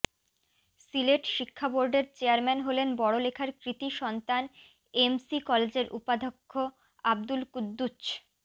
সিলেট শিক্ষাবোর্ডের চেয়ারম্যান হলেন বড়লেখার কৃতি সন্তান এমসি কলেজের উপাধ্যক্ষ আব্দুল কুদ্দুছ